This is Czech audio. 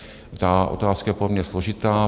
Ta otázka je pro mě složitá.